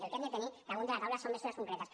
el que hem de tenir damunt la taula són mesures concretes